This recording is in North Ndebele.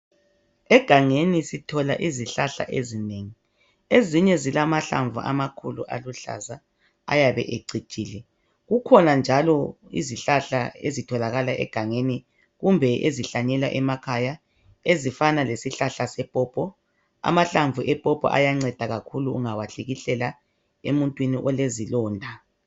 Egangeni sithola izihlahla ezinengi, ezinye zilamahlamvu amakhulu aluhlaza ayabe ecijile. Kukhona njalo izihlahla ezitholakala egangeni kumbe ezihlanyelwa emakhaya ezifana lesihlahla sepopo. Amahlamvu epopo ayanceda kakhulu ungawahlikihlela emuntwini olezilonda.